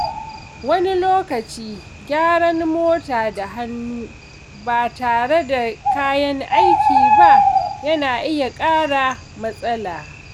Wani lokaci, gyaran mota da hannu ba tare da kayan aiki ba yana iya ƙara matsala.